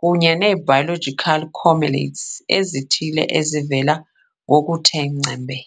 kunye ne-biological correlates ezithile ezivela ngokuthe ngcembe.